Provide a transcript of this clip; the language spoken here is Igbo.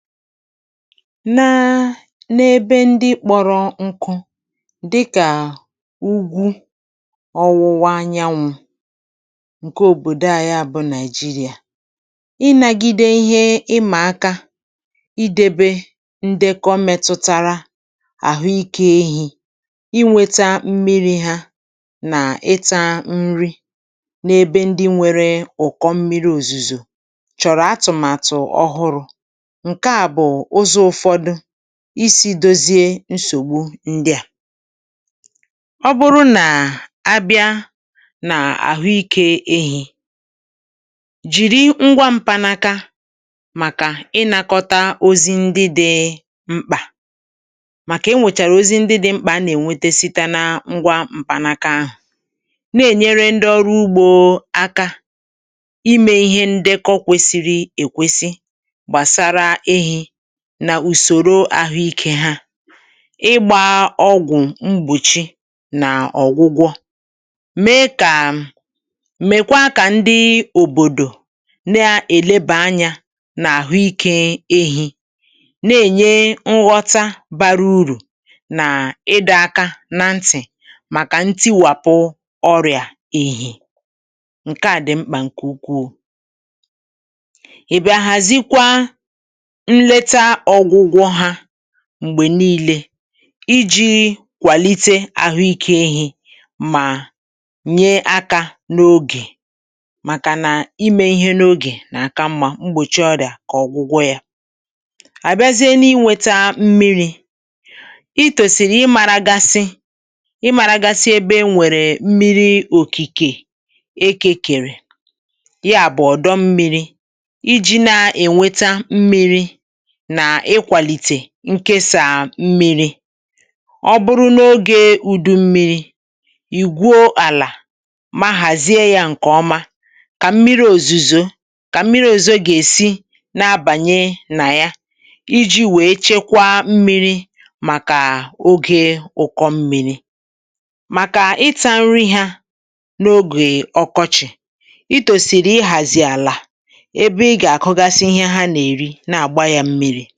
na ebe ndị kpọrọ nkụ dịkà ugwu ọ̀wụ̀wa anyanwụ̄ nke òbòdò a, ya bụ̄ Nigeria ịnàgìdè ihe ịmà aka idebe ndị kọ̀ metụtara àhụ́ ìké ehī inwètà mmirī hà nà ịtà nri n’ebe ndị nwere ụ̀kọ̀ mmirì, òzùzò chọ̀rọ̀ atụ̀màtụ̀ ọhụrụ̄ isī dozie nsògbu ndị a, ọ bụrụ nà abịa n’àhụ́ ìké ehī jìrì ngwa m̀panaka màkà ịnakọta ozi ndị dị mkpa, màkà e nwèchàrà ozi ndị dị mkpa nà-ènwete site nà ngwa m̀panaka ahụ̀, na-ènyere ndị ọrụ ugbò aka nà ùsòrò àhụ́ ìké ha ịgbà ọgwụ̀ mbòchi nà ọ̀gwụgwọ, mèe kà mèkwaa kà ndị òbòdò na-èlebà anya nà àhụ́ ìké ehī, na-ènye nghọta bara uru nà ịdọ̀ aka na ntì màkà ntiwàpụ ọrịa ehī nke a dị̀ mkpa nke ukwuu. ị̀bịa hàzịkwa mgbè niile ijī kwàlite àhụ́ ìké ehī mà nye aka n’ogè màkà nà ime ihe n’ogè n’aka mma mgbòchi ọrịa kà ọ̀gwụgwọ, yà àbịazịe n’inwètà mmirī. ị̀ tòsìrì ìmàrágàsị̀ ìmàrágàsị̀ ebe e nwèrè mmirì òkìkè eke kèrè, ya bụ̀ ọ̀dọ̀ mmirī, ijī na-ènweta mmirī nke sàa mmiri, ọ bụrụ n’ogè ụ̀dùmmirì ì gwuo àlà mà hàzie ya nke ọma kà mmirì òzùzò gà-èsi na-abànye nà ya ijī wèe chekwa mmirī màkà ogè ụ̀kọ̀ mmirī màkà ịtà nri hà n’ogè ọkọchị̀, ị̀ tòsìrì ịhàzì àlà enyi.